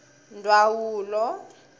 ndwawulo